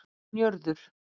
Njörður